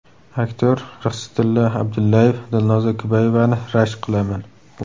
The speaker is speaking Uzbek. Aktyor Rixsitilla Abdullayev: Dilnoza Kubayevani rashk qilaman.